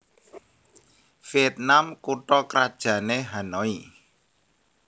Viètnam kutha krajané Hanoi